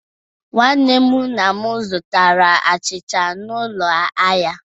Nwanne nna m zụtara achịcha n'ụlọ ahịa.